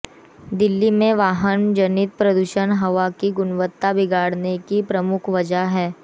दिल्ली में वाहन जनित प्रदूषण हवा की गुणवत्ता बिगाड़ने की प्रमुख वजह है